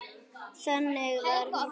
Þannig var hún Gréta.